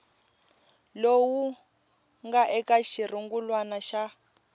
lowu nga eka xirungulwana xa